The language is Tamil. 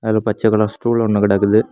அதுல பச்சை கலர் ஸ்டூல் ஒன்னு கெடக்குது.